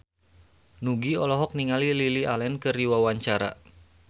Nugie olohok ningali Lily Allen keur diwawancara